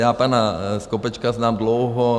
Já pana Skopečka znám dlouho.